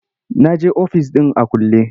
Na je ofis ɗin a kulle.